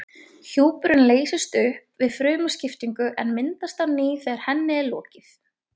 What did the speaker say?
Hjúpurinn leysist upp við frumuskiptingu en myndast á ný þegar henni er lokið.